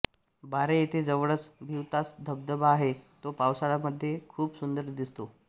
बारे येथे जवळच भिवतास धबधबा आहे तो पावसाळयामधे खुप सुन्दर दिसतो